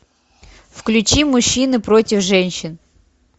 включи мужчины против женщин